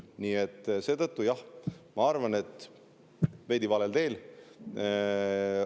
Nii et seetõttu, jah, ma arvan, et veidi valel teel.